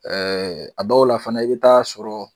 Ɛɛ a dɔw la fana i be taa sɔrɔ